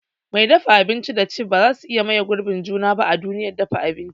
Mai dafa abinci da chef bazasu iya maye girbin juna ba a duniyar dafa abinci.